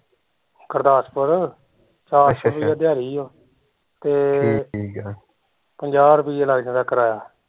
ਗੁਰਦਾਸਪੁਰ ਚਾਰ ਸੋ ਰੁੱਪਈਆ ਦਿਹਾੜੀ ਓ ਤੇ ਪੰਜਾਹ ਰੁਪਈਏ ਲੱਗ ਜਾਂਦਾ ਕਿਰਾਇਆ